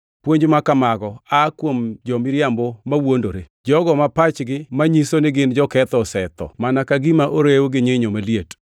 Puonj ma kamago aa kuom jo-miriambo mawuondore, jogo ma pachgi manyiso ni gin joketho osetho mana ka gima orew gi nyinyo maliet.